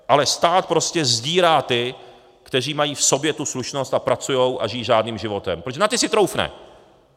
Ale stát prostě sdírá ty, kteří mají v sobě tu slušnost a pracují a žijí řádným životem, protože na ty si troufne.